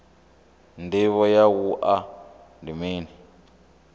ndivho ya wua ndi mini